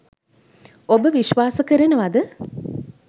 ඔබ විශ්වාස කරනවද?